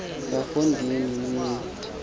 bafo ndini niy